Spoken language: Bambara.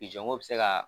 ko bɛ se ka